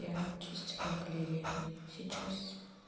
я чистила галерею сейчас